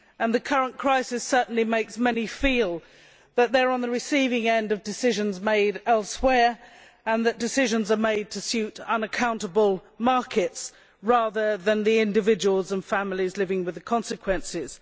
The current crisis certainly makes many feel that they are on the receiving end of decisions made elsewhere, and that decisions are being made to suit unaccountable markets rather than individuals and families living with the consequences.